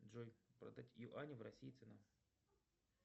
джой продать юани в россии цена